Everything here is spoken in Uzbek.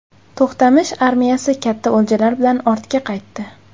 To‘xtamish armiyasi katta o‘ljalar bilan ortga qaytdi.